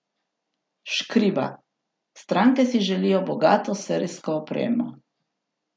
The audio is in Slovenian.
Škriba: "Stranke si želijo bogato serijsko opremo.